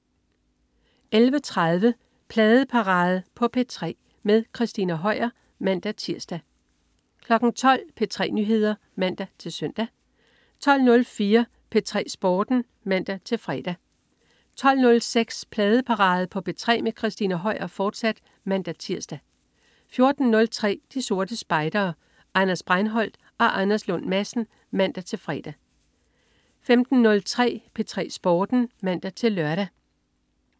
11.30 Pladeparade på P3 med Christina Høier (man-tirs) 12.00 P3 Nyheder (man-søn) 12.04 P3 Sporten (man-fre) 12.06 Pladeparade på P3 med Christina Høier, fortsat (man-tirs) 14.03 De Sorte Spejdere. Anders Breinholt og Anders Lund Madsen (man-fre) 15.03 P3 Sporten (man-lør)